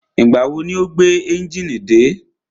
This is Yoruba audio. Ìgbà wo ni o gbé ẹ́njìnì dé?